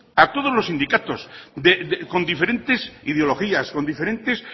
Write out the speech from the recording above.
a todos los sindicatos con diferentes ideologías con diferentes